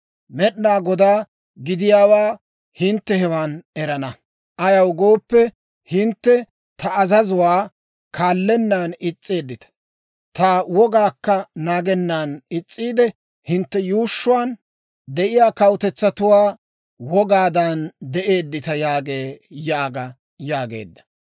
Med'inaa Godaa gidiyaawaa hintte hewan erana. Ayaw gooppe, hintte ta azazuwaa kaallennaan is's'eeddita; ta wogaakka naagennan is's'iide, hintte yuushshuwaan de'iyaa kawutetsatuwaa wogaadan de'eeddita» yaagee› yaaga» yaageedda.